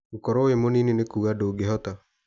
Gũkoro wĩ mũnini ti kuga ndũngĩhota.